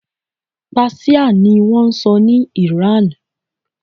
Páṣíà ni wọ́n sọ ní ìran.